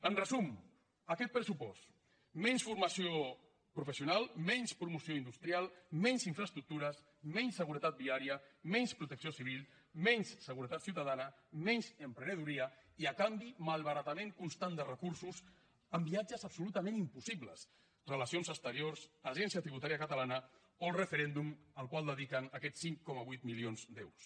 en resum aquest pressupost menys formació professional menys promoció industrial menys infraestructures menys seguretat viària menys protecció civil menys seguretat ciutadana menys emprenedoria i a canvi malbaratament constant de recursos en viatges absolutament impossibles relacions exteriors agència tributària catalana o referèndum al qual dediquen aquests cinc coma vuit milions d’euros